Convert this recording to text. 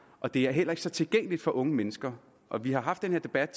og det er heller ikke så tilgængeligt for unge mennesker vi har haft den her debat